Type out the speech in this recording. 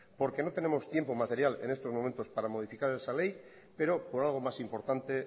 porque no tenemos tiempo material en estos momentos para modificar esa ley pero por algo más importante